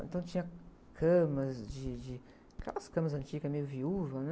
Então tinha camas, de, de, aquelas camas antigas meio viúvas, né?